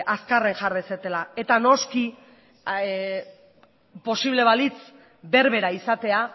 azkarren jar dezatela eta noski posible balitz berbera izatea